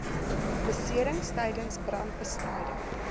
beserings tydens brandbestryding